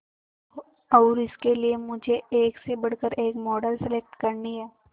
और इसके लिए मुझे एक से बढ़कर एक मॉडल सेलेक्ट करनी है